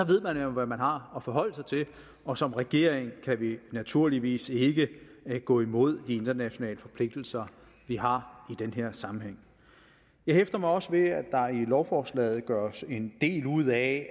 ved man jo hvad man har at forholde sig til og som regering kan vi naturligvis ikke gå imod de internationale forpligtelser vi har i den her sammenhæng jeg hæfter mig også ved at der i lovforslaget gøres en del ud af at